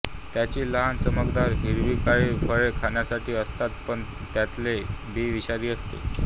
त्याची लहान चमकदार हिरवीकाळी फळे खाण्यासारखी असतात पण त्यांतले बी विषारी असते